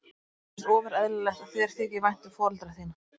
Mér finnst ofur eðlilegt að þér þyki vænt um foreldra þína.